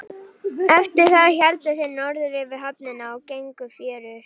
Eftir það héldu þeir norður fyrir höfnina og gengu fjörur.